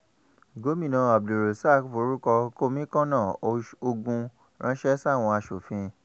gomina abdulrosaq forúkọ kọ́míkànnà ogún ránṣẹ́ sáwọn asòfin